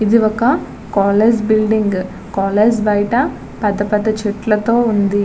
ఇది ఒక college building college బయట పెద్దపెద్ద చెట్టులతో ఉంది.